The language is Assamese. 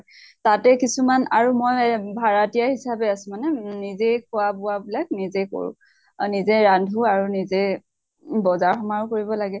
তাতে কিছুমান আৰু মই ভাৰাতীয়া হিচাপে আছো মানে নিজে খোৱা বোৱা বিলাক নিজে কৰো। আৰু নিজে ৰান্ধু আৰু নিজে বজেৰ সমাৰো কৰিব লাগে।